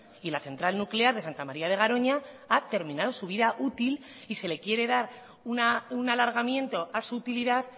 y la central nuclear de santa maría de garoña ha terminado su vida útil y se le quiere dar un alargamiento a su utilidad